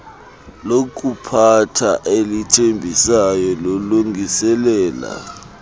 lokuphatha elithembisayo lilungiselela